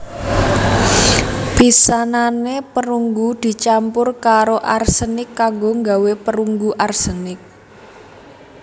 Pisanane perunggu dicampur karo arsenik kanggo nggawé perunggu arsenik